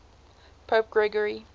pope gregory